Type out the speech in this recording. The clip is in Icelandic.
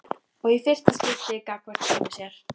Og í fyrsta skipti gagnvart sjálfri sér.